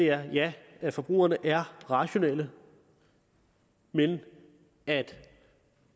er jo at ja forbrugerne er rationelle men at